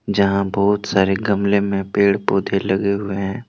जहां बहुत सारे गमले में पेड़ पौधे लगे हुए हैं।